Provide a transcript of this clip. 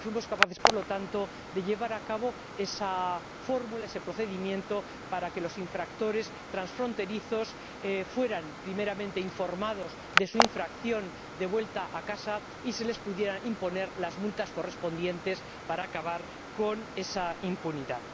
Y fuimos capaces, por lo tanto, de llevar a cabo esa fórmula, ese procedimiento, para que los infractores transfronterizos fueran primeramente informados de su infracción, tras volver a casa, y se les pudiera imponer las multas correspondientes para acabar con esa impunidad.